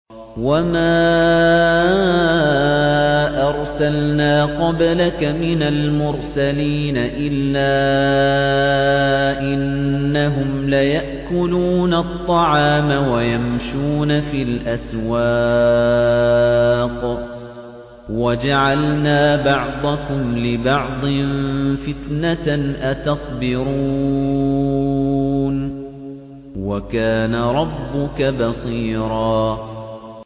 وَمَا أَرْسَلْنَا قَبْلَكَ مِنَ الْمُرْسَلِينَ إِلَّا إِنَّهُمْ لَيَأْكُلُونَ الطَّعَامَ وَيَمْشُونَ فِي الْأَسْوَاقِ ۗ وَجَعَلْنَا بَعْضَكُمْ لِبَعْضٍ فِتْنَةً أَتَصْبِرُونَ ۗ وَكَانَ رَبُّكَ بَصِيرًا